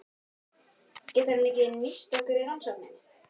Getur hann ekki nýst ykkur í rannsókninni?